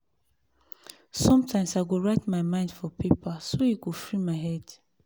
sometimes i go write my mind for paper so e go free my head.